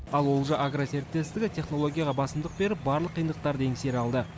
ал олжа агро серіктестігі технологияға басымдық беріп барлық қиындықтарды еңсере алды